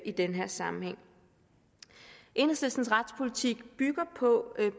i den her sammenhæng enhedslistens retspolitik bygger på